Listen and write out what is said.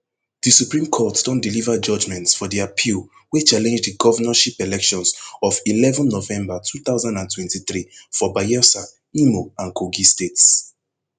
di supreme court don deliver judgments for di appeal wey challenge di govnorship elections of eleven november two thousand and twenty-three for bayelsa imo and kogi states